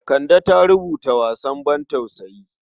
Kande ta rubuta wasan bantausayi.